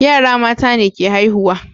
yara mata ne ke haihuwa